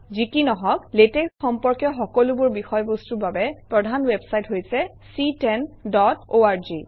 যি কি নহওক লেটেক্স সম্পৰ্কীয় সকলোবোৰ বিষয়বস্তুৰ বাবে প্ৰধান ৱেবচাইট হৈছে ctanorg